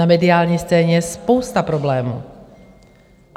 Na mediální scéně je spousta problémů.